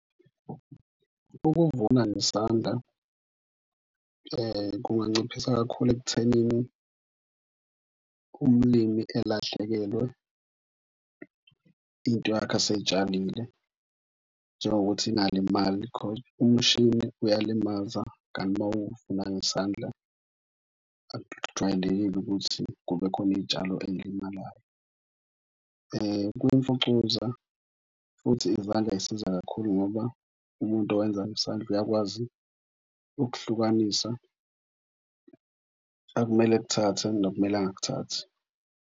Ukuvuna ngesandla kunganciphisa kakhulu ekuthenini umlimi elahlekelwe into yakhe asey'tshalile. Njengokuthi ingalimali because umshini uyalimaza kanti uma uvuna ngesandla akujwayelekile ukuthi kube khona iy'tshalo ey'limalayo. Kwimfucuza futhi izandla zisiza kakhulu ngoba umuntu owenza isandla uyakwazi ukuhlukanisa akumele akuthathe nokumele angakuthathi.